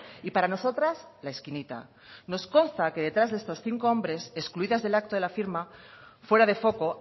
y para nosotras la esquinita nos consta que detrás de estos cinco hombres excluidas del acto de la firma fuera de foco